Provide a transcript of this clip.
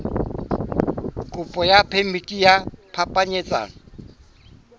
kopo ya phemiti ya phapanyetsano